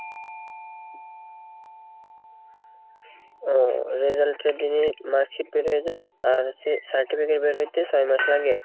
ও result এর দিনে marksheet বের হয়ে যাই আর সে certificate বের হইতে ছয় মাস লাগে?